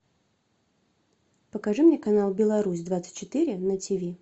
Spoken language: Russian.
покажи мне канал беларусь двадцать четыре на тиви